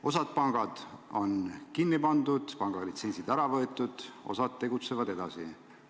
Osa panku on kinni pandud, neilt on pangalitsentsid ära võetud, osa tegutseb edasi.